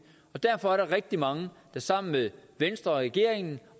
og derfor er der rigtig mange der sammen med venstre og regeringen